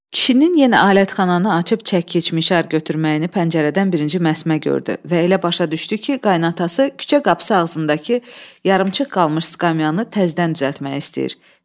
Kişinin yenə alətxananı açıb çəkişmişər götürməyini pəncərədən birinci Məsmə gördü və elə başa düşdü ki, qaynası küçə qapısı ağzındakı yarımçıq qalmış skamyannı təzədən düzəltmək istəyir.